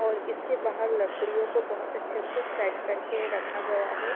और इसके बाहर लकडियो को बोहोत अछे से सेट करके रखा गया है।